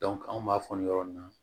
anw b'a fɔ nin yɔrɔ nin na